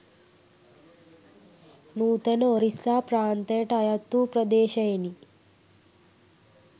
නූතන ඔරිස්සා ප්‍රාන්තයට අයත්වූ ප්‍රදේශයෙනි.